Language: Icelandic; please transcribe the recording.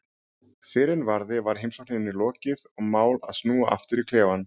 Fyrr en varði var heimsókninni lokið og mál að snúa aftur í klefann.